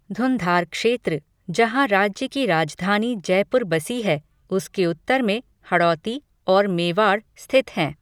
धुंधार क्षेत्र, जहाँ राज्य की राजधानी जयपुर बसी है, उसके उत्तर में हड़ौती और मेवाड़ स्थित हैं।